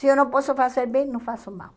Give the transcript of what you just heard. Se eu não posso fazer bem, não faço mal.